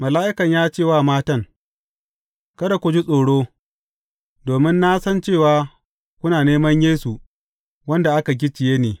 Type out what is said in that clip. Mala’ikan ya ce wa matan, Kada ku ji tsoro, domin na san cewa kuna neman Yesu wanda aka gicciye ne.